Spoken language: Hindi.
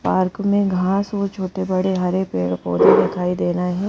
पार्क में घास और छोटे बड़े हरे पैड पौधे दिखाई दे रहे हैं।